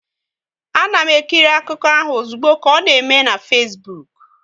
A na m ekiri akụkọ ahụ ozugbo ka ọ na eme na Fesbuk